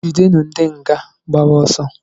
Jidenu ndị nga gbara ọsọ!